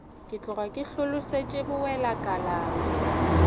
ke tloga ke hlolosetšwe bowelakalana